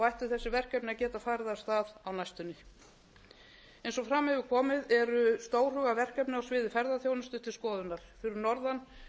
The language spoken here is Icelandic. ættu þessi verkefni að geta farið af stað á næstunni eins og fram hefur komið eru verkefni á sviði ferðaþjónustu til skoðunar fyrir norðan